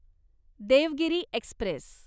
Devgiri Express